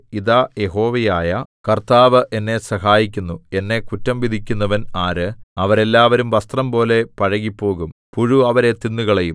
ഇതാ യഹോവയായ കർത്താവ് എന്നെ സഹായിക്കുന്നു എന്നെ കുറ്റം വിധിക്കുന്നവൻ ആര് അവരെല്ലാവരും വസ്ത്രംപോലെ പഴകിപ്പോകും പുഴു അവരെ തിന്നുകളയും